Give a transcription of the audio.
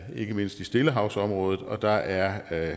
ikke mindst i stillehavsområdet og der er